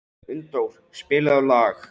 Unndór, spilaðu lag.